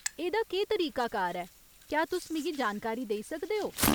एह्दा केह् तरीकाकार ऐ, क्या तुस मिगी जानकारी देई सकदे ओ ?